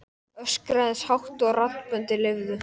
Það var dumbungur og mikið vetrarríki yfir öllu.